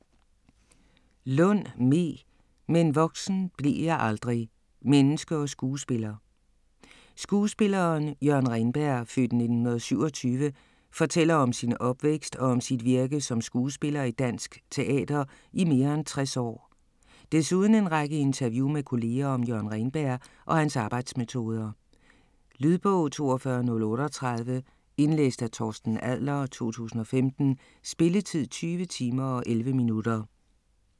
Lund, Me: - men voksen blev jeg aldrig: menneske & skuespiller Skuespilleren Jørgen Reenberg (f. 1927) fortæller om sin opvækst og om sit virke som skuespiller i dansk teater i mere end 60 år. Desuden en række interview med kolleger om Jørgen Reenberg og hans arbejdsmetoder. Lydbog 42038 Indlæst af Torsten Adler, 2015. Spilletid: 20 timer, 11 minutter.